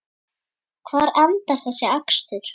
Hvar endar þessi akstur?